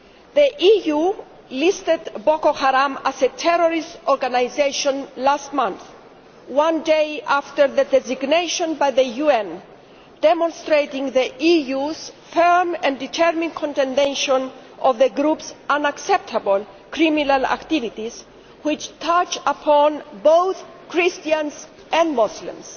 The EU listed Boko Haram as a terrorist organisation last month, one day after their designation by the UN, demonstrating the EU's firm and determined condemnation of the group's unacceptable criminal activities which touch upon both Christians and Muslims.